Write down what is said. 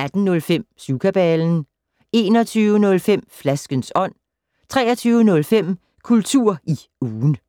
18:05: Syvkabalen 21:05: Flaskens ånd 23:05: Kultur i ugen